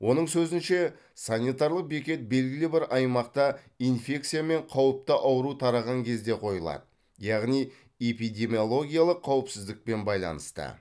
оның сөзінше санитарлық бекет белгілі бір аймақта инфекция мен қауіпті ауру тараған кезде қойылады яғни эпидемиологиялық қауіпсіздікпен байланысты